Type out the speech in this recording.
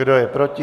Kdo je proti?